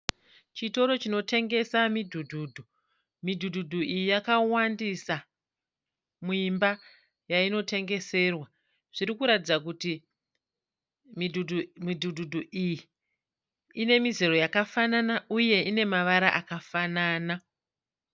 Chitoro chinotengesa midhudhudhu. Midhudhudhu iyi yakawandisa muimba yainotengeserwa. Zviri kuratidza kuti midhudhudhu iyi ine mizera yakafanana uye ine mavara akafanana.